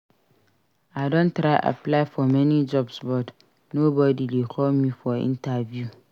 I don try apply for many jobs but nobody dey call me for interview